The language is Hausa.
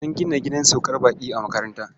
An gina gidan saukar baƙi a makaranta.